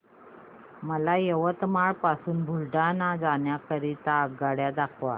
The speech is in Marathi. मला यवतमाळ पासून बुलढाणा जाण्या करीता आगगाड्या दाखवा